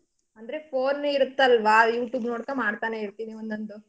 ಅಂದ್ರೆ phone ಯೇ ಇರತಲ್ವಾ youtube ನೋಡ್ಕೋಂಡ್ ಮಾಡ್ತಾನೆ ಇರ್ತೀನಿ ಒಂದೊಂದು.